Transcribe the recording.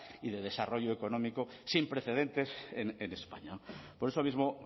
y de desarrollo económico sin precedentes en españa por eso mismo